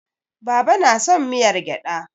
Baba na son miyar gyada.